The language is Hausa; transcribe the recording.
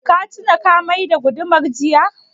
Ka tuna ka mai da gudumar jiya?